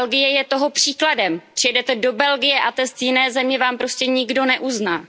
A Belgie je toho příkladem, přijedete do Belgie a test jiné země vám prostě nikdo neuzná.